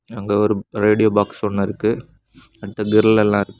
அங்க ஒரு radio box ஒன்னு இருக்கு அடுத்து கிரில் எல்லா இருக்--